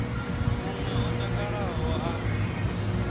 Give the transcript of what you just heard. mun we o takalaho a